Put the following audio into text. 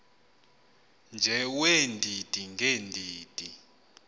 nje weendidi ngeendidi